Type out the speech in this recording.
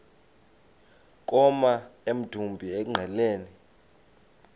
koma emdumbi engqeleni